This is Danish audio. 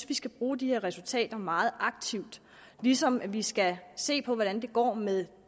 vi skal bruge de her resultater meget aktivt ligesom vi skal se på hvordan det går med